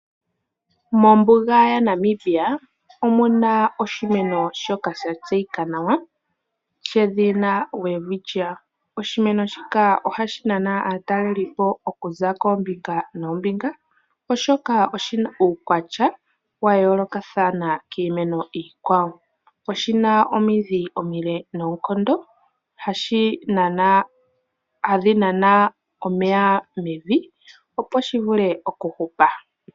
Mombuga yaNamibia omuna oshimeno shoka sha tseyika nawa she dhina Welwitchia. Oshimeno shika ohashi nana aatalelipo okuza koombinga noombinga. Oshoka oshina uukwatya wayoloka thana kiimeno iikwawo. Oshina omiidhi omiile noonkondo hadhi nana omeya mevi opo shi vule oku hupa.